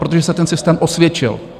Protože se ten systém osvědčil.